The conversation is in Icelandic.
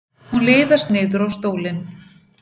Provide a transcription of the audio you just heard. Hún liðast niður á stólinn.